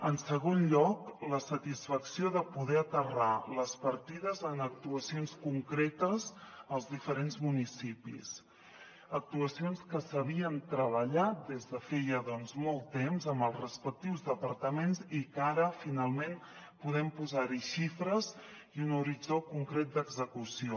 en segon lloc la satisfacció de poder aterrar les partides en actuacions concretes als diferents municipis actuacions que s’havien treballat des de feia molt temps amb els respectius departaments i que ara finalment podem posar hi xifres i un horitzó concret d’execució